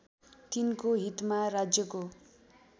तिनको हितमा राज्यको